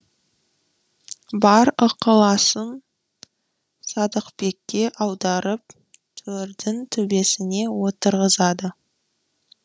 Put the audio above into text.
бар ықыласын садықбекке аударып төрдің төбесіне отырғызады